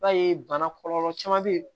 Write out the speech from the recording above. I b'a ye bana kɔlɔlɔ caman be yen